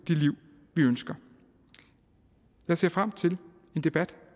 det liv vi ønsker jeg ser frem til en debat